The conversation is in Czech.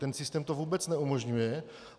Ten systém to vůbec neumožňuje.